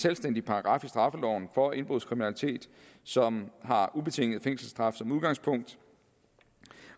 selvstændig paragraf i straffeloven for indbrudskriminalitet som har ubetinget fængselsstraf som udgangspunkt